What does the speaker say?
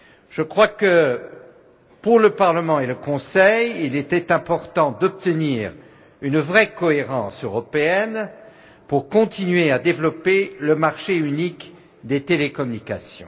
Je crois que pour le Parlement et le Conseil, il était important d'obtenir une vraie cohérence européenne pour continuer à développer le marché unique des télécommunications.